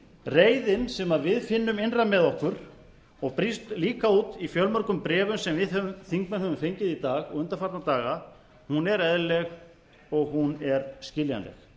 reiðin sem við finnum innra með okkur og brýst líka út í fjölmörgum bréfum sem við þingmenn höfum fengið í dag og undanfarna daga er eðlileg og hún er skiljanleg